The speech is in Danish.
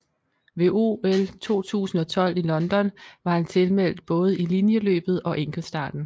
Ved OL 2012 i London var han tilmeldt både i linjeløbet og enkeltstarten